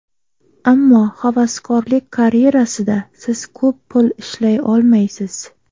Ammo havaskorlik karyerasida siz ko‘p pul ishlay olmaysiz.